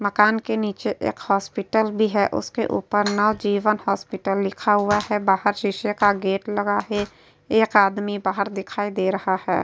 मकान के नीचे एक हॉस्पिटल भी है। उसके ऊपर नवजीवन हॉस्पिटल लिखा हुआ है। बाहर शीशे का गेट लगा है। एक आदमी बाहर दिखाई दे रहा है।